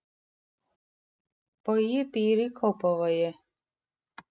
Bogi býr í Kópavogi.